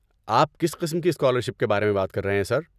آپ کس قسم کی اسکالرشپ کے بارے میں بات کر رہے ہیں، سر؟